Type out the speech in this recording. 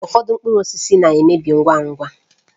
Ụfọdụ mkpụrụ osisi na-emebi ngwa ngwa